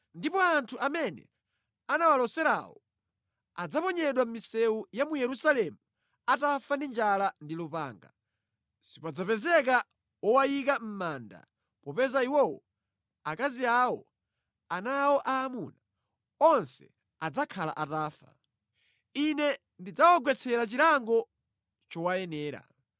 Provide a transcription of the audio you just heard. Ndipo anthu amene anawaloserawo adzaponyedwa mʼmisewu ya mu Yerusalemu atafa ndi njala ndi lupanga. Sipadzapezeka wowayika mʼmanda popeza iwowo, akazi awo, ana awo aamuna, onse adzakhala atafa. Ine ndidzawagwetsera chilango chowayenera.